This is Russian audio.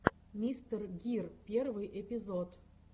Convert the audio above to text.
мистер гир первый эпизод